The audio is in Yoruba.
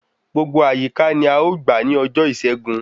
Gbogbo àyíká ní a ọ gbà ni ọjọ ìṣẹ́gun